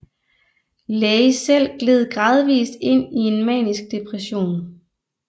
Leigh selv gled gradvis ind i en manisk depression